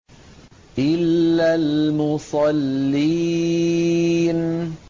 إِلَّا الْمُصَلِّينَ